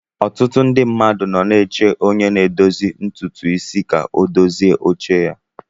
Ọtụtụ ndị mmadụ nọ na-eche onye na-edozi ntutu isi ka ọ dozie oche ya.